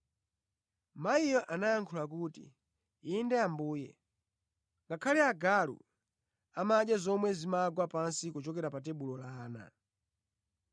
Mayiyo anayankha kuti, “Inde Ambuye, koma ngakhale agalu amadya zomwe zimagwa pansi kuchokera pa tebulo la ana.”